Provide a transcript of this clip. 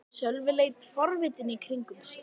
Sölvi leit forvitinn í kringum sig.